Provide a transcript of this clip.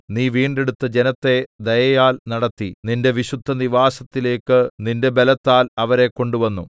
നീ വീണ്ടെടുത്ത ജനത്തെ ദയയാൽ നടത്തി നിന്റെ വിശുദ്ധനിവാസത്തിലേക്ക് നിന്റെ ബലത്താൽ അവരെ കൊണ്ടുവന്നു